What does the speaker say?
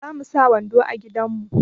Ba mu sa wando a gidan mu.